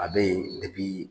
A bɛ yen